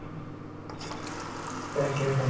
তাকেহে ।